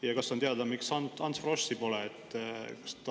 Ja kas on teada, miks Ants Froschi pole?